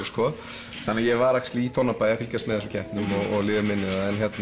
þannig að ég var í Tónabæ að fylgjast með þessum keppnum og liði mínu þar